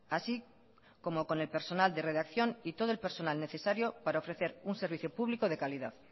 así como con el personal de redacción y todo el personal necesario para ofrecer un servicio público de calidad